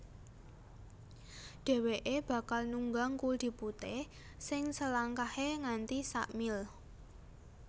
Dhèwèké bakal nunggang kuldi putih sing selangkahé nganti sa mil